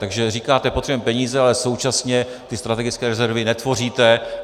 Takže říkáte: Potřebujeme peníze, ale současně ty strategické rezervy netvoříte.